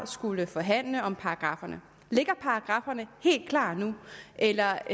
skullet forhandle om paragrafferne ligger paragrafferne helt klar nu eller er